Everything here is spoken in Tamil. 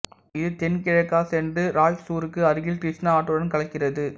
இது தென்கிழக்காகச் சென்று ராய்ச்சூருக்கு அருகில் கிருஷ்ணா ஆற்றுடன் கலக்கிறது